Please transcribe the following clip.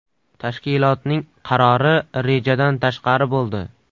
Tashkilotning qarori rejadan tashqari bo‘ldi.